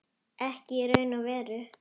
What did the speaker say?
Ekki í raun og veru.